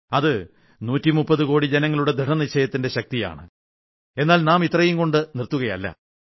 അത് 130 കോടി ജനങ്ങളുടെ ദൃഢനിശ്ചയത്തിന്റെ ശക്തിയാണ് എന്നാൽ നാം ഇത്രയും കൊണ്ട് നിർത്തുകയല്ല